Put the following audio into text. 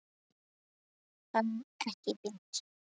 Það er ekkert fínt.